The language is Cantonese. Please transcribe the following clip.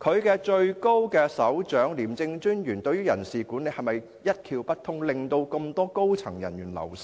廉署的首長廉政專員對於人事管理是否一竅不通，令如此多高層人員流失呢？